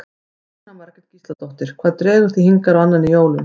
Jóhanna Margrét Gísladóttir: Hvað dregur þig hingað á annan í jólum?